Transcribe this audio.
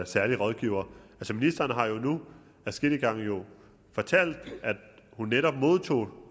særlige rådgiver ministeren har jo nu adskillige gange fortalt at hun netop modtog